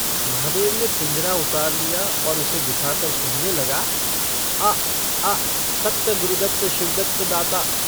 महादेव ने पिंजरा उतार लिया और उसे दिखाकर कहने लगा - आ आ सत्त गुरुदत्त शिवदत्त दाता।